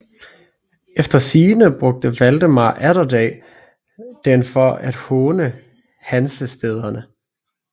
Efter sigende brugte Valdemar Atterdag den for at håne Hansestæderne